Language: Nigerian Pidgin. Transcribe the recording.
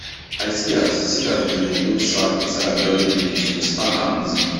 i see as see as dem dey load sack inside hydraulic lift to stack am easy